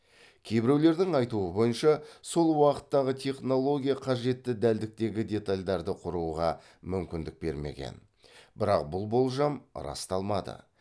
кейбіреулердің айтуы бойынша сол уақыттағы технология қажетті дәлдіктегі детальдарды құруға мүмкіндік бермеген бірақ бұл болжам расталмады